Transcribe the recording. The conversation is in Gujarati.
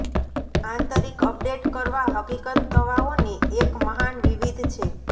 આંતરિક અપડેટ કરવા હકીકત તવાઓને એક મહાન વિવિધ છે